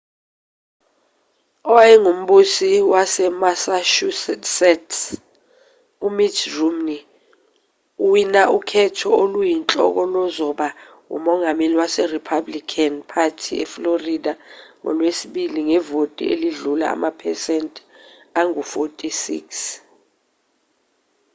owayengumbusi wasemassachusetts umitt romney uwina ukhetho oluyinhloko lozoba umongameli werepublican party eflorida ngolwesibili ngevoti elidlula amaphesenti angu-46